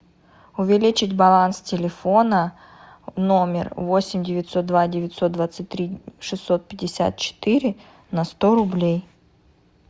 увеличить баланс телефона номер восемь девятьсот два девятьсот двадцать три шестьсот пятьдесят четыре на сто рублей